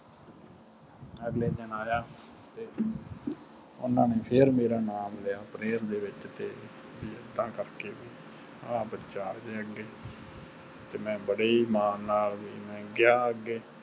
ਅਗਲੇ ਦਿਨ ਆਯਾ ਤੇ ਓਹਨਾ ਨੇ ਫਿਰ ਮੇਰਾ ਨਾਮੁ ਲਿਆ prayer ਦੇ ਵਿਚ ਏਦਾਂ ਕਰਕੇ ਹੋਈ ਕਿ ਆਹ ਬਚਾ ਆ ਜਾਵੇ ਅਗੇ ਤੇ ਮੈਂ ਬਾਰੇ ਹੀ ਮਾਨ ਨਾਲ ਗਿਆ ਅਗੇ